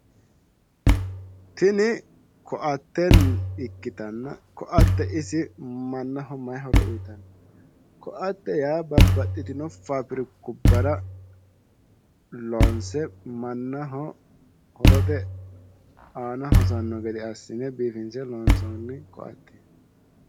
Tinni koatte ikitanna koatte isi mannaho mayi horo uyitano? Koatte yaa babbaxitino fabirikubbara loonse mannaho horote aanna hosano gede asine biifinse loonsooni koatteti.